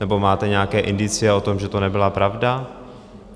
Nebo máte nějaké indicie o tom, že to nebyla pravda?